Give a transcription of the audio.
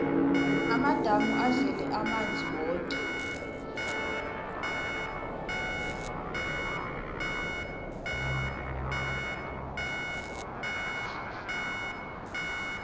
amadamu azele amanzi woke